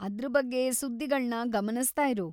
ಅದ್ರ್ ಬಗ್ಗೆ ಸುದ್ದಿಗಳ್ನ ಗಮನಿಸ್ತಾ ಇರು.